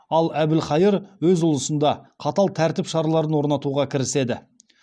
ал әбілхайыр өз ұлысында қатал тәртіп шараларын орнатуға кіріседі